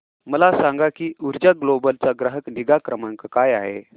मला सांग की ऊर्जा ग्लोबल चा ग्राहक निगा क्रमांक काय आहे